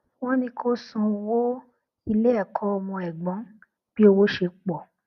wọn ní kó san owó ilé ẹkọ ọmọ ẹgbọn bí owó ṣe pọ